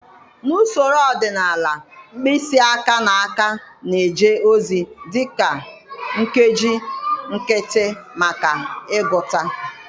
Na usoro ọdịnala mkpịsị aka na aka na-eje ozi dị ka nkeji nkịtị maka ịgụta.